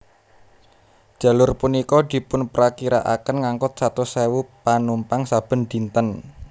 Jalur punika dipunprakirakaken ngangkut satus sewu panumpang saben dinten